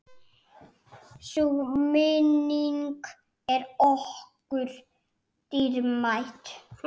Sú minning er okkur dýrmæt.